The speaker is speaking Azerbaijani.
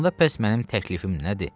Onda bəs mənim təklifim nədir?